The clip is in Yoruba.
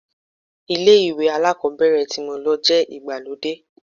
Ilé ìwé alákọ̀ọ́bẹ̀rẹ̀ tí mo lọ jẹ́ ìgbàlódé.